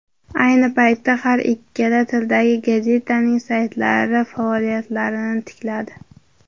Ayni paytda har ikkala tildagi gazetaning saytlari faoliyatlarini tikladi.